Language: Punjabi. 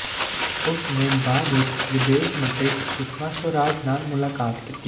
ਉਸ ਨੇ ਬਾਅਦ ਵਿੱਚ ਵਿਦੇਸ਼ ਮੰਤਰੀ ਸੁਸ਼ਮਾ ਸਵਰਾਜ ਨਾਲ ਮੁਲਾਕਾਤ ਕੀਤੀ